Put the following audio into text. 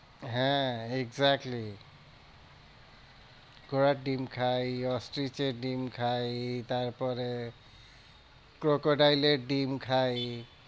হ্যাঁ exactly ঘোড়ার ডিম খাই ostrich এর ডিম খাই তারপরে crocodile এর ডিম খাই।